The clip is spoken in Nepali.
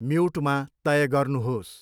म्युटमा तय गर्नुहोस्।